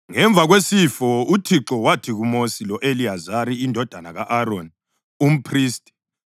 Ngemva kwesifo uThixo wathi kuMosi lo-Eliyazari indodana ka-Aroni, umphristi,